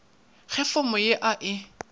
ge fomo ya a e